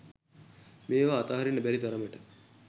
මේවා අතහරින්න බැරි තරමට